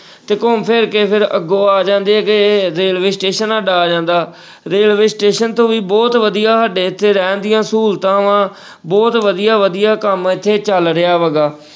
ਤੇ ਘੁੰਮ ਫਿਰ ਕੇ ਫਿਰ ਅੱਗੋਂ ਆ ਜਾਂਦੇ ਹੈਗੇ railway station ਸਾਡਾ ਆ ਜਾਂਦਾ railway station ਤੋਂ ਵੀ ਬਹੁਤ ਵਧੀਆ ਸਾਡੇ ਇੱਥੇ ਰਹਿਣ ਦੀਆਂ ਸਹੂਲਤਾਂ ਵਾ ਬਹੁਤ ਵਧੀਆ ਵਧੀਆ ਕੰਮ ਇੱਥੇ ਚੱਲ ਰਿਹਾ ਹੈਗਾ,